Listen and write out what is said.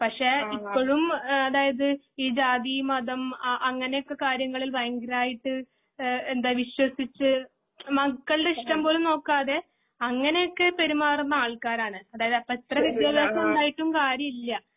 പക്ഷെ ഇപ്പഴും അതായത് ഈ ജാതി ഈ മതം അ അങ്ങനെയൊക്കെ കാര്യങ്ങളില് ഭയങ്കരയിട്ട് ഏ എന്ത വിശ്വസിച്ചു മക്കളുടെ ഇഷ്ടം പോലും നോക്കാതെ അങ്ങനൊക്കെ പെരുമാറുന്ന ആൾക്കാരാണ്. അതായതു അപ്പൊ എത്ര വിദ്ത്യഭ്യാസമുണ്ടായിട്ടും കാര്യമില്ല.